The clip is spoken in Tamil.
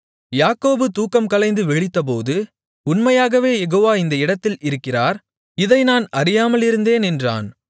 யாக்கோபு தூக்கம் கலைந்து விழித்தபோது உண்மையாகவே யெகோவா இந்த இடத்தில் இருக்கிறார் இதை நான் அறியாமலிருந்தேன் என்றான்